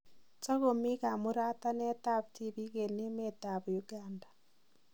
Takomi kamuratanet ab tibik en emet ab Uganda